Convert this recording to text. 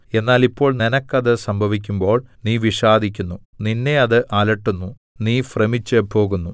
എന്നാൽ ഇപ്പോൾ നിനക്കത് സംഭവിക്കുമ്പോൾ നീ വിഷാദിക്കുന്നു നിന്നെ അത് അലട്ടുന്നു നീ ഭ്രമിച്ചുപോകുന്നു